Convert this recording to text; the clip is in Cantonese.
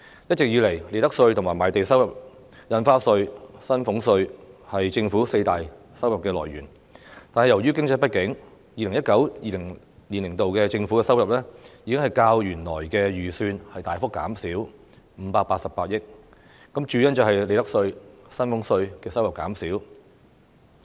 一直以來，利得稅、賣地收入、印花稅和薪俸稅是政府四大收入來源，但由於經濟不景 ，2019-2020 年度的政府收入已較原來預算大幅減少588億元，主因是利得稅和薪俸稅的收入減少。